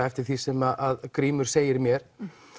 eftir því sem Grímur segir mér